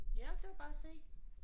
Ja der kan du bare se!